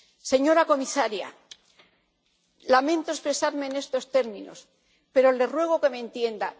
Señora comisaria, lamento expresarme en estos términos, pero le ruego que me entienda.